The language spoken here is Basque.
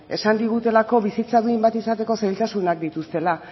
esan digutelako bizitza duin bat izateko zailtasunak dituztela